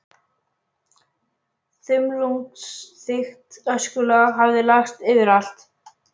Þumlungsþykkt öskulag hafði lagst yfir allt.